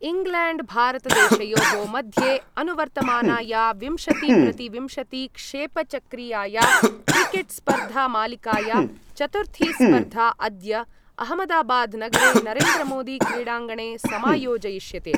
इङ्ग्लेण्ड्भारतदेशयोः मध्ये अनुवर्तमानाया विंशतिप्रतिविंशतिक्षेपचक्रीयाया क्रिकेट्स्पर्धामालिकाया चतुर्थी स्पर्धा अद्य अहमदाबाद्नगरे नरेन्द्रमोदीक्रीडाङ्गणे समायोजयिष्यते।